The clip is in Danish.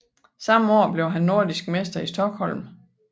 Samme år blev han nordisk mester i Stockholm